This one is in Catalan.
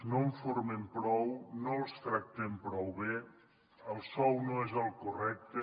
no en formem prou no els tractem prou bé el sou no és el correcte